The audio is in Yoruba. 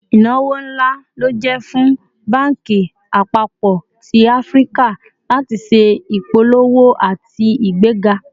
Ìnáwó ńlá ló jẹ́ fún banki àpapọ̀ tí Áfíríkà láti ṣé ìpolówó àti igbega